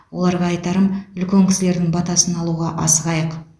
оларға айтарым үлкен кісілердің батасын алуға асығайық